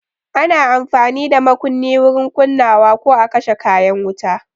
Ana amfani da makunni wurin kunnawa ko a kashe kayan wuta.